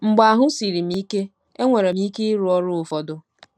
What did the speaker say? Mgbe ahụ́ siri m ike, enwere m ike ịrụ ọrụ ụfọdụ.